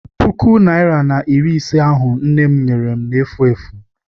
Puku naịra na iri ise ahụ nne m nyere m na-efu efu.